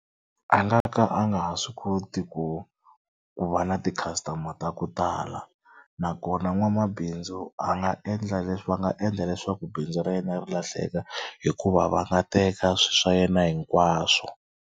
A nga ka a nga ha swi koti ku ku va na ti-customer ta ku tala nakona nwamabindzu a nga endla leswi va nga endla leswaku bindzu ra yena ri lahleka hikuva va nga teka swi swa yena hinkwaswo.